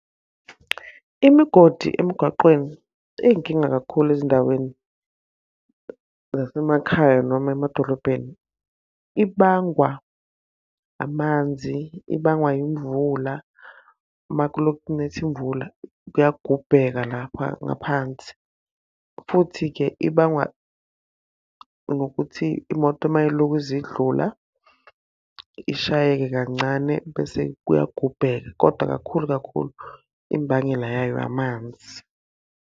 Imigodi emgaqweni iy'nkinga kakhulu ezindaweni zasemakhaya noma emadolobheni. Ibangwa amanzi, ibangwa yimvula. Uma kuloku kunetha imvula kuyagubheka lapha ngaphansi. Futhi-ke ibangwa nokuthi imoto uma iy'lokhu zidlula ishayeke kancane bese kuyagubheka. Kodwa kakhulu kakhulu imbangela yayo amanzi.